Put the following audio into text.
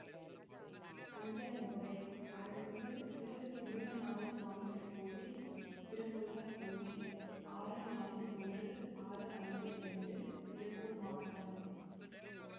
அஞ்சல் முகவரி அருள்மிகு திருமுருகன்நாதசுவாமி திருக்கோயில் திருமுருகன்பூண்டி ஆறு நான்கு ஒன்று ஆறு ஐந்து இரண்டு திருப்பூர் மாவட்டம்